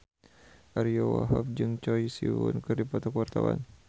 Ariyo Wahab jeung Choi Siwon keur dipoto ku wartawan